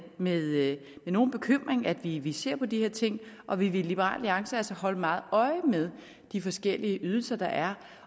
med nogen bekymring at vi vi ser på de her ting og vi vil i liberal alliance holde meget øje med de forskellige ydelser der er